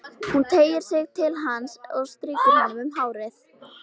Hún teygir sig til hans og strýkur honum um hárið.